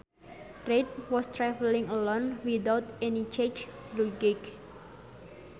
Reid was traveling alone without any checked luggage